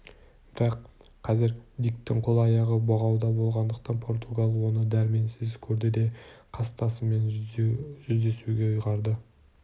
бірақ қазір диктің қол-аяғы бұғауда болғандықтан португал оны дәрменсіз көрді де қастасымен жүздесуге ұйғарды